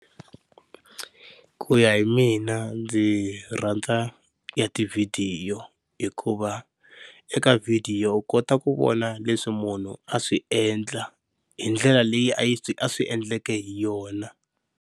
Ku ya hi mina ndzi rhandza ya tivhidiyo hikuva eka video u kota ku vona leswi munhu a swi endla hi ndlela leyi a swi a swi endleke hi yona.